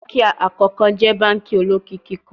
Banki akọkọ jẹ banki olokiki kan